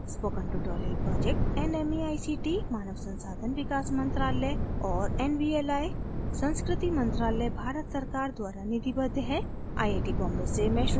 spoken tutorial project nmeict मानव संसाधन विकास मंत्रालय और nvli संस्कृति मंत्रालय भारत सरकार द्वारा निधिबद्ध है